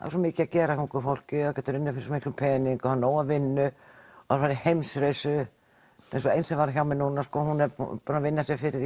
svo mikið að gera hjá ungu fólki þau geta unnið fyrir svo mikinn pening og hafa næga vinnu fara í heimsreisu eins og einn sem var hjá mér núna hún er búin að vinna sér fyrir því